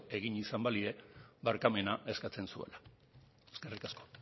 egin izan balie barkamena eskatzen zuela eskerrik asko